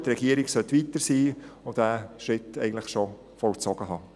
Die Regierung sollte weiter sein und diesen Schritt eigentlich schon vollzogen haben.